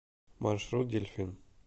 маршрут дельфин